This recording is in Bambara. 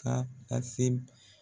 Kaa ka se